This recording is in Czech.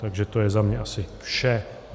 Takže to je za mě asi vše.